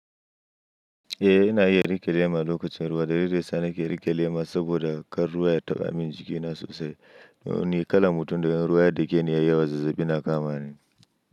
Eh ina iya riƙe lema lokacin ruwa, da lilinda ya sa na ke riƙe lema saboda kar ruwa ya taɓa min jikina sosai. Ni kalan mutum da in ruwa ya dake ni ya yi yawa zazzaɓi na kama ni.